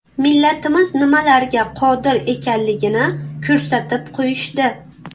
Millatimiz nimalarga qodir ekanligini ko‘rsatib qo‘yishdi.